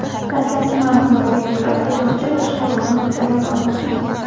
Dastlabki ma’lumotlarga ko‘ra, haydovchi boshqaruvni uddalay olmagan.